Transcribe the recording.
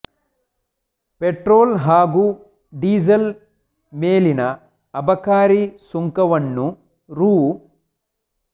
petrol ಹಾಗೂ diesel ಮೇಲಿನ ಅಬಕಾರಿ ಸುಂಕ ವನ್ನು ರೂ